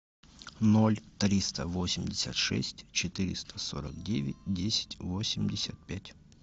ноль триста восемьдесят шесть четыреста сорок девять десять восемьдесят пять